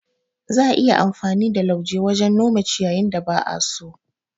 Za'a iya yin amfani da lauje wajen nome ciyYin da ba'a so.